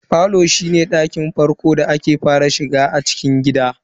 Falo shine ɗakin farko da ake fara shiga a cikin gida.